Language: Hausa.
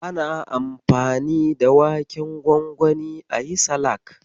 Ana anfani da waken gwangwani ayi salak.